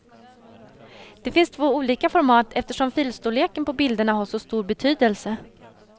Det finns två olika format eftersom filstorleken på bilderna har så stor betydelse.